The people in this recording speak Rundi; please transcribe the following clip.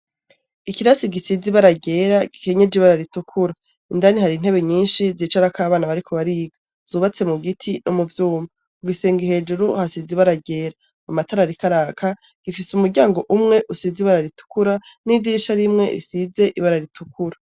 Ikirasi gisize ibara ryera, gikenyeje ibara ritukura indani hari intebe nyinshi zicarako abana ,bariko bariga zubatse mubiti no muvyuma, igisenge hejuru hasize ibara ryera amatara ariko araka, gifise umuryango umwe usize ibara ritukura n'idirisha rimwe risize ibara ritukura.